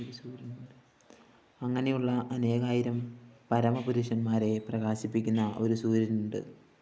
അങ്ങനെയുള്ള അനേകായിരം പരമപുരുഷന്മാരെ പ്രകാശിപ്പിക്കുന്ന ഒരു സൂര്യനുണ്ട്‌